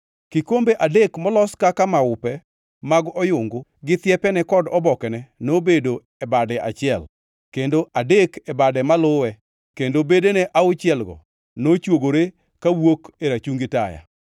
Kikombe adek molos kaka maupe mag oyungu gi thiepene kod obokene nobedo e bade achiel, kendo adek e bade maluwe kendo bedene auchielgo nochwogore kawuok e rachungi taya.